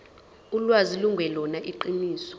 ulwazi lungelona iqiniso